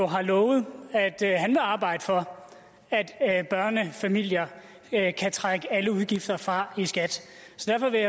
har lovet at han vil arbejde for at børnefamilier kan trække alle udgifter fra i skat